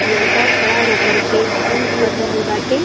लड़का खड़ा हो कर के जिम कर रहल बाटे।